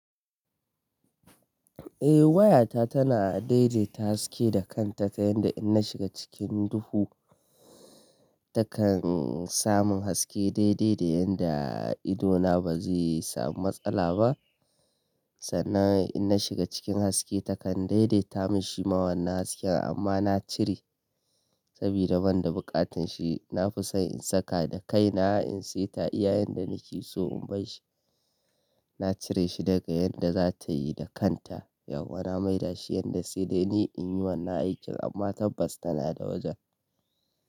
Eh waya ta tana dai-daita haske da kanta ta yanda in na shiga cikin duhu takan samu haske dai-dai da yanda idona ba zai samu matsala ba. Sannan in na shiga cikin haske takan dai-daita mun shi ma wannan hasken amma na cire sabida ban da buƙatar shi. Na fi son in saka da kai na in sai ta iya yanda nake so in bai shi. Na cire shi daga yanda za ta yi da kanta yauwa na mai da shi yanda sai dai ni in yi wannan aikin amma tabbas tana da wajan.